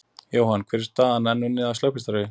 Jóhann, hver er staðan, er enn unnið að slökkvistarfi?